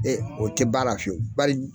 o tɛ ban a la fiyewu.